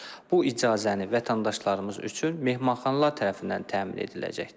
Bu icazəni vətəndaşlarımız üçün mehmanxanalar tərəfindən təmin ediləcəkdir.